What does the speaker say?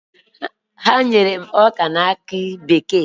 Ha nyere m ọka na akị bekee.